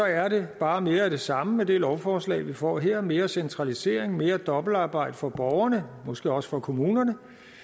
er det bare mere af det samme med det lovforslag vi får her mere centralisering mere dobbeltarbejde for borgerne måske også for kommunerne